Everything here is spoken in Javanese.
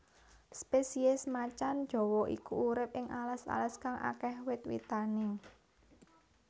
Spesies macan jawa iki urip ing alas alas kang akéh wit witane